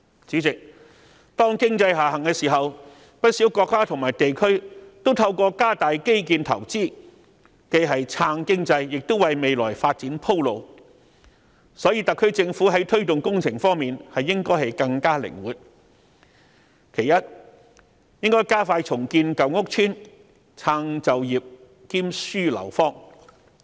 主席，當經濟下行時，不少國家和地區均透過加大基建投資，既是撐經濟，亦是為未來發展鋪路，所以特區政府在推動工程方面應更加靈活，其一，應加快重建舊屋村，撐就業兼紓樓荒。